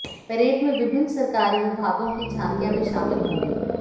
parade में विभिन्न सरकारी विभागों की झांकियां भी शामिल होंगी